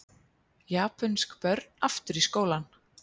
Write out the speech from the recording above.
Japönsk börn aftur í skólann